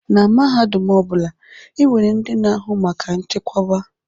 Na mahadum ọ bụla, e nwere ndị na-ahụ maka nchekwoba.